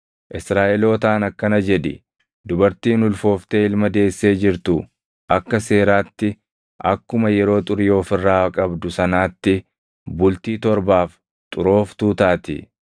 “Israaʼelootaan akkana jedhi: ‘Dubartiin ulfooftee ilma deessee jirtu akka seeraatti akkuma yeroo xurii of irraa qabdu sanaatti bultii torbaaf xurooftuu taati.